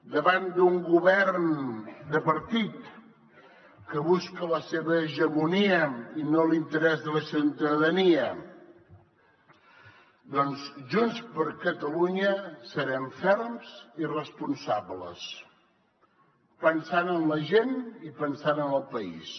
davant d’un govern de partit que busca la seva hegemonia i no l’interès de la ciutadania doncs junts per catalunya serem ferms i responsables pensant en la gent i pensant en el país